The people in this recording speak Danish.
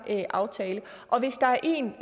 aftale og hvis der er en